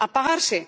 apagarse